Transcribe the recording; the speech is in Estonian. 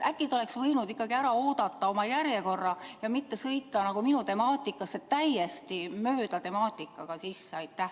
Äkki ta oleks võinud ikkagi ära oodata oma korra ja mitte sõita minu temaatikasse sisse täiesti teise temaatikaga?